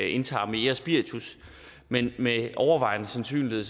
indtager mere spiritus men med overvejende sandsynlighed